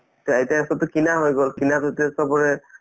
তে এতিয়া চবটো কিনা হৈ গল কিনা যেতিয়া চবৰে